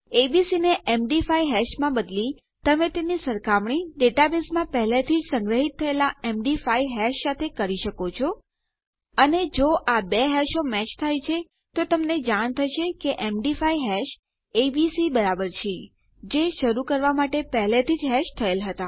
ABC ને MD five હેશમાં બદલી તમે તેની સરખામણી ડેટાબેઝમાં પહેલાથી જ સંગ્રહીત થયેલ એમડી5 હેશ સાથે કરી શકો છો અને જો આ બે હેશો મેચ થાય તો તમને જાણ થશે કે એમડી5 હેશ એબીસી બરાબર છે જે શરૂ કરવા માટે પહેલાથી જ હેશ થયેલ હતા